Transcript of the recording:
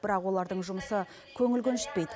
бірақ олардың жұмысы көңіл көншітпейді